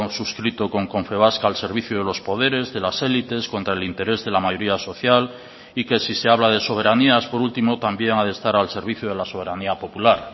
suscrito con confebask al servicio de los poderes de las élites contra el interés de la mayoría social y que si se habla de soberanías por último también ha de estar al servicio de la soberanía popular